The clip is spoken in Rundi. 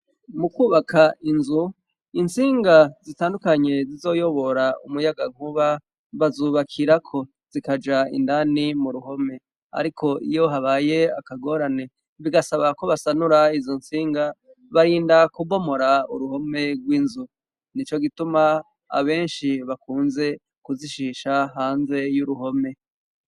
Mukwubaka inzu intsinga zitandukanye zizoyobora umuyaga nkuba bazubakirako zikaja indani mu ruhome ariko iyo habaye akagorane bigasaba ko basanura izo ntsinga barinda kubomora uruhome gw'inzu nico gituma abenshi bakunze kuzishisha hanze y'uruhome.